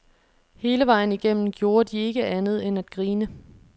Hele vejen igennem gjorde de ikke andet end at grine.